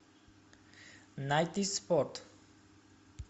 найди спорт